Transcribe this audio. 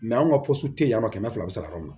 anw ka tɛ yan nɔ kɛmɛ fila bɛ se ka k'anw na